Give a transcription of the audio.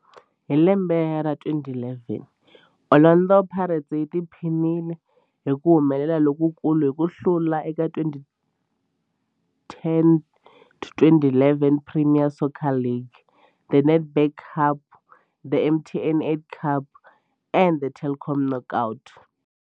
Hi lembe ra 2011, Orlando Pirates yi tiphinile hi ku humelela lokukulu hi ku hlula eka 2010-11 Premier Soccer League, The Nedbank Cup, The MTN 8 Cup na The Telkom Knockout.